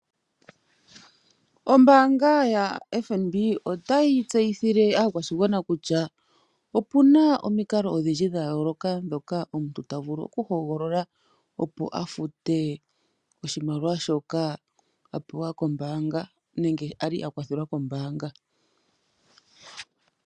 Ombaanga yaFNB otayi tseyithile aakwashigwana kutya opu na omikalo odhindji dha yooloka ndhoka omuntu ta vulu okuhogolola, opo a fute oshimaliwa shoka a li a pewa nenge a kwathelwa kombaanga.